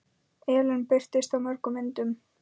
Ellin birtist í mörgum myndum.